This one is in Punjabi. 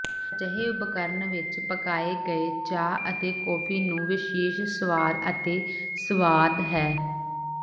ਅਜਿਹੇ ਉਪਕਰਣ ਵਿੱਚ ਪਕਾਏ ਗਏ ਚਾਹ ਅਤੇ ਕੌਫੀ ਨੂੰ ਵਿਸ਼ੇਸ਼ ਸਵਾਦ ਅਤੇ ਸੁਆਦ ਹੈ